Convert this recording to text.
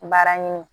Baara ɲini